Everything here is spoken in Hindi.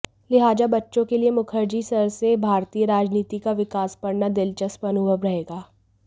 लिहाजा बच्चों के लिए मुखर्जी सर से भारतीय राजनीति का विकास पढ़ना दिलचस्प अनुभव रहेगा